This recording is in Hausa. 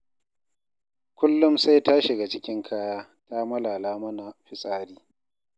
Kullum sai ta shiga cikin kaya ta malala mana fitsari.